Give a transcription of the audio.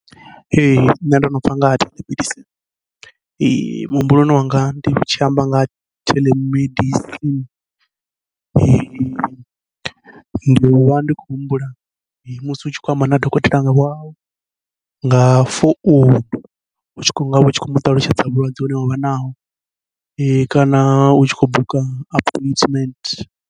Ee nṋe ndo no pfha nga ha theḽemedisini, muhumbuloni wanga ndi tshi amba nga theḽemedisini ndivha ndi khou humbula musi u tshi khou amba na dokotela wau nga founu, u tshi khou nga u tshi khou muṱalutshedza vhulwadze hune wavha naho kana u tshi khou buka aphoithimenthe.